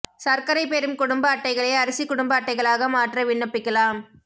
சா்க்கரை பெறும் குடும்ப அட்டைகளை அரிசி குடும்ப அட்டைகளாக மாற்ற விண்ணப்பிக்கலாம்